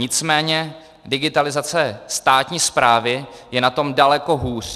Nicméně digitalizace státní správy je na tom daleko hůř.